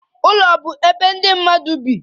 Ụlọ bụ ebe ndị mmadụ bi.